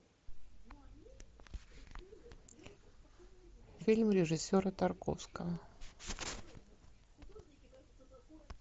фильм режиссера тарковского